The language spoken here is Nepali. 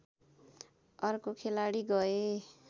अर्का खेलाडी गए